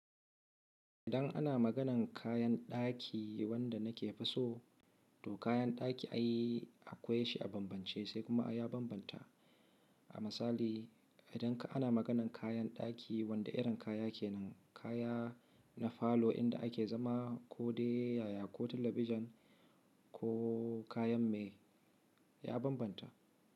Idan ana maganan kayan daki wanda nake fi so, to kayan daki ai akwai shi a bambance sai kuma ya bambanta. A misali idan ka ana maganan kayan daki wanda irin kaya ke nan, kaya na falo inda ake zama ko dai yaya ko talabijin ko kayan me ya bambanta.